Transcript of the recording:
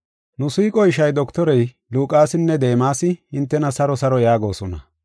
Nu siiqo ishay dottorey Luqaasinne Deemasi, hintena saro saro yaagosona.